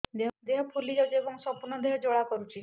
ଦେହ ଫୁଲି ଯାଉଛି ଏବଂ ସମ୍ପୂର୍ଣ୍ଣ ଦେହ ଜ୍ୱାଳା କରୁଛି